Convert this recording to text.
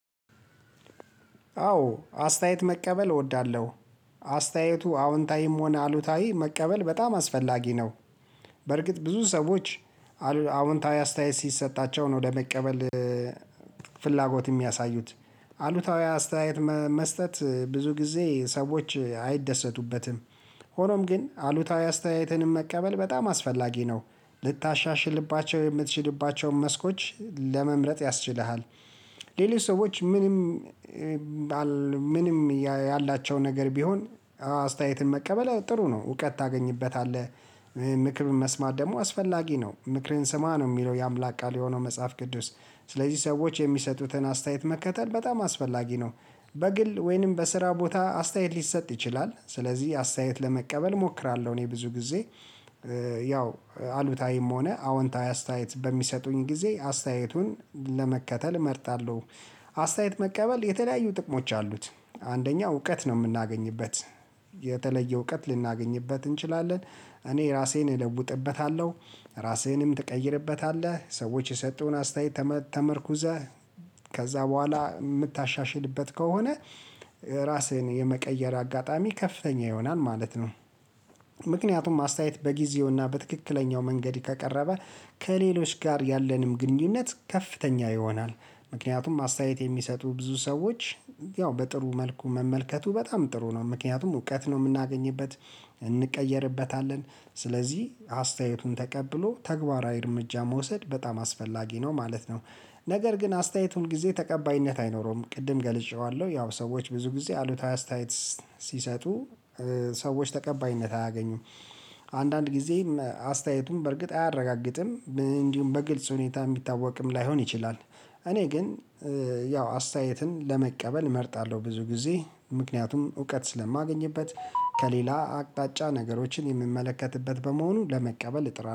አዎ አስተያየት መቀበል እወዳለሁ አስተያየቱ አዎንታዊም ሆነ አሉታዊ መቀበል በጣም አስፈላጊ ነው። በርግጥ ብዙ ሰዎች አዉንታዊ አስተያየት ሲሰጣቸው ነው ለመቀበል ፍላጎት የሚያሳዩት አሉታዊ አስተያየት መስጠት ብዙ ጊዜ ሰዎች አይደሰቱበትምደ ሆኖም ግን አሉታዊ አስተያየትንም መቀበል በጣም አስፈላጊ ነው። ልታሻሽልባቸው የምትችልባቸውን መስኮች ለመምረጥ ያስችልሃል። ሌሊት ሰዎች ምንም ምንም ያላቸው ነገር ቢሆን አስተያየትን መቀበል ጥሩ ነው እውቀት ታገኝበታለህ ምክር መስማት ደግሞ አስፈላጊ ነው ምክርን ስማ ነው የሚለው የአምላክ ቃል የሆነው መጽሐፍ ቅዱስ። ስለዚህ ሰዎች የሚሰጡትን አስተያየት መከተል በጣም አስፈላጊ ነው። በግል ወይንም በስራ ቦታ አስተያየት ሊሰጥ ይችላል ስለዚህ አስተያየት ለመቀበል እሞክራለሁ እኔ ብዙ ጊዜ። ያው አሉታዊም ሆነ አዎንታዊ አስተያየት በሚሰጡኝ ጊዜ አስተያየቱን ለመከተል እመርጣለው። አስተያየት መቀበል የተለያዩ ጥቅሞች አሉት አንደኛ እውቀት ነው የምናገኝበት። የተለየ እውቀት ልናገኝበት እንችላለን እኔ ራሴን እለውጥበታለሁ ራሴንም ትቀይርበታለህ ሰዎች የሰጡን አስተያየት ተመርኩዘህ ከዛ በቦኋላ የምታሻሽልበት ከሆነ ራስህን የመቀየር አጋጣሚ ከፍተኛ ይሆናል ማለት ነው። ምክንያቱም አስተያየት በጊዜውና በትክክለኛው መንገድ ከቀረበ ከሌሎች ጋር ያለንም ግንኙነት ከፍተኛ ይሆናል። ምክንያቱም አስተያየት የሚሰጡ ብዙ ሰዎች ያው በጥሩ መልኩ መመልከቱ በጣም ጥሩ ነው። ምክንያቱም እውቀት ነው የምናገኝበት እንቀየርበታለን ስለዚህ አስተያየቱን ተቀብሎ ተግባራዊ እርምጃ መውሰድ በጣም አስፈላጊ ነው ማለት ነው። ነገር ግን አስተያየቱን ጊዜ ተቀባይነት አይኖረውም ቅድም ገልጬዋለሁ። ያው ሰዎች ብዙ ጊዜ አሉታዊ አስተያየት ሲሰጡ ሰዎች ተቀባይነት አያገኙም አንዳንድ ጊዜ አስተያየቱን በእርግጥ አያረጋግጥም እንዲሁም በግልጽ ሁኔታ የሚታወቅም ላይሆን ይችላል እኔ ግን ያው አስተያየትን ለመቀበል እመርጣለው ብዙ ጊዜ ምክንያቱም እውቀት ስለማገኝበት ከሌላ አቅጣጫ ነገሮችን የምመለከትበት በመሆኑ ለመቀበል እጥራለው።